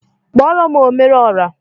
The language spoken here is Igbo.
Kpọrọm omere ọra!